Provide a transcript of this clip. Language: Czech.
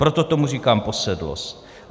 Proto tomu říkám posedlost.